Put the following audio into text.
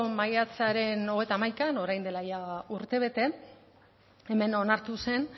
maiatzaren hogeita hamaikaan orain dela urtebete hemen onartu zen